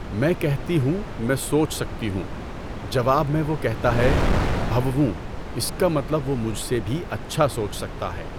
میں کہتی ہوں، میں سوچ سکتی ہوں۔ جواب میں وہ کہتا ہے، بھووووں اس کا مطلب وہ مجھ سے بھی اچھا سوچ سکتا ہے۔